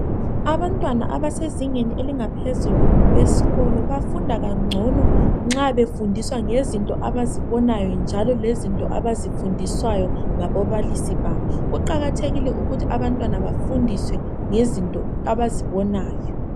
Abantwana abasezingeni elingaphezulu esikolo bafunda kangcono nxa befundiswa ngezinto abazibonayo njalo ngezinto abazifundiswayo ngababalisi babo kuqakathekile ukuthi abantwana bafundiswe ngezinto abazibonayo.